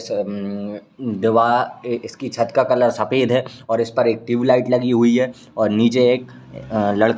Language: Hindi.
उम्म दीवा एक इसकी छत का कलर सफेद है और इसपर एक ट्यूबलाइट लगी हुई है और नीचे एक लड़का --